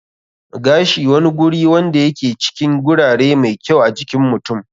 Gashi wani guri wanda ya ke cikin gurare mai kyau a jikin mutum.